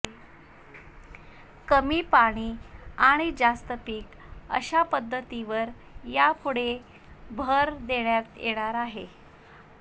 कमी पाणी आणि जास्त पीक अशा पद्धतीवर यापुढे भर देण्यात येणार आहे